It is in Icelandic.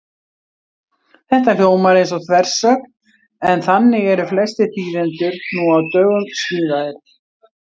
Þetta hljómar eins og þversögn, en þannig eru flestir þýðendur nú á dögum smíðaðir.